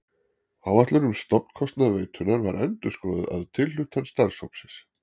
Áætlun um stofnkostnað veitunnar var endurskoðuð að tilhlutan starfshópsins.